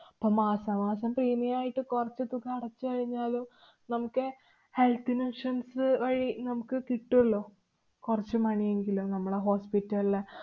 അപ്പൊ മാസാമാസം premium ആയിട്ട് കുറച്ചു തുക അടച്ചു കഴിഞ്ഞാലും നമുക്കേ health n~ insurance അ് വഴി നമുക്ക് കിട്ടുവല്ലോ കൊറച്ചു money എങ്കിലും നമ്മളാ hospital ല്